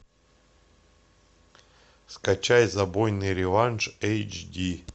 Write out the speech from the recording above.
скачай забойный реванш эйч ди